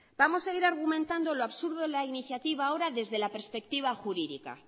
vamos a ir argumentando lo absurdo de la iniciativa ahora desde la perspectiva jurídica